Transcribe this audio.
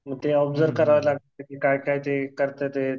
मग ते ऑबझर्व करायला लागायचं. काय काय ते करतात येत.